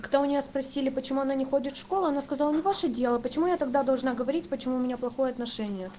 когда у нее спросили почему она не ходит в школу она сказала не ваше дело почему я тогда должна говорить почему у меня плохое отношение